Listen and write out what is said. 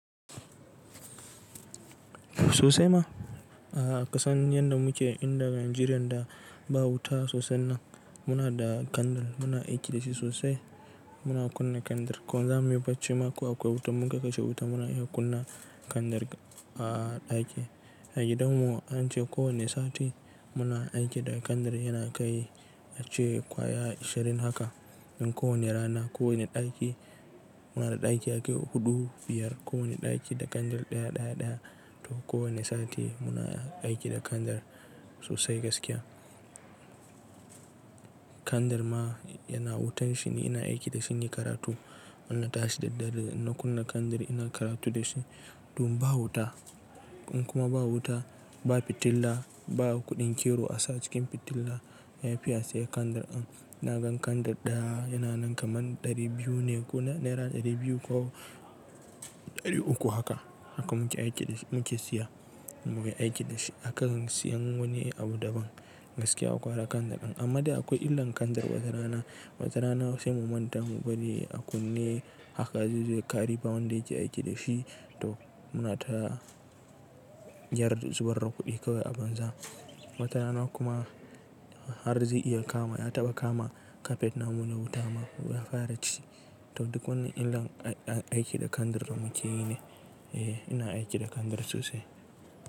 Sosai ma, a ƙasan yanda muke inda Nijeriyan da ba wuta sosai nan, muna da kandir, muna aiki da shi sosai, muna kunna kandir. Ko zamu yi barci ma, ko akwai wutan, mun ka kashe wutan muna iya kunna kandir a ɗaki. A gidan mu an ce ko wane sati, muna aiki da kandir yana kai ace ƙwaya ishirin haka. In ko wane rana ko wane ɗaki, muna da ɗaki yakai huɗu biyar, ko wane ɗaki da kandir ɗaya ɗaya ɗaya, to ko wane sati muna aiki da kandir sosai gaskiya. Kandir ma, yana wutan shi, ni ina aiki da shi inyi karatu. Inna tashi da dare, inna kunna kandir ina karatu da shi. Tom ba wuta, in kuma ba wuta, ba fitila, ba kuɗin kero a sa a cikin fitilla, ya fi a siya kandir in. Ina gan kandir ɗaya yana nan kaman ɗari biyu ne ko naira ɗari biyu ko ɗari uku haka. Haka muke aiki da shi muke siya, muke aiki da shi. Akan siyan wani abu daban, gaskiya gwara kandir ɗin. Amma dai akwai illan kandir wata rana, wata rana sai mu manta mu bari a kunne, haka zaizo ya kare ba wanda yake aiki da shi. To, muna ta yar, zubar da kuɗi kawai a banza. Wata rana kuma, har zai iya kama, ya taɓa kama kafet namu na wuta ma ya fara ci. To duk wannan illan aiki da kandir da muke yi ne. Eh ina aiki da kandar sosai.